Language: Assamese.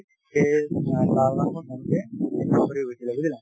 বুজিলা